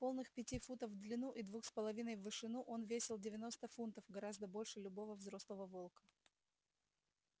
полных пяти футов в длину и двух с половиной в вышину он весил девяносто фунтов гораздо больше любого взрослого волка